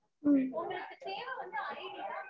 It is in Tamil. ஹம்